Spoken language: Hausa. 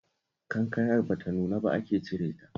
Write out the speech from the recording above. Kankanar ba ta nuna ba aka cire ta